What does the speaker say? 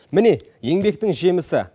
міне еңбектің жемісі